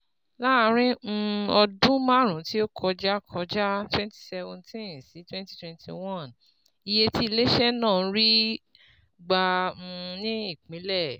Láàárín um ọdún márùn-ún tí ó kọjá kọjá (2017-2021), iye tí ilé-iṣẹ́ náà ń rí gbà um ní ìpínlẹ̀